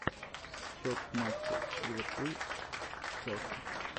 счет в матче ливерпуль челси